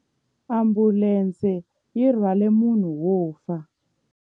Ambulense yi rhwarile munhu wo fa.